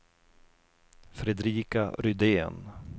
Fredrika Rydén